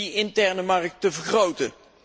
die interne markt te vergroten.